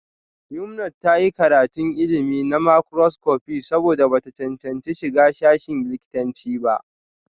Yumnat ta yi karatun ilimi na makroscopi saboda ba ta cancanci shiga sashin likitanci ba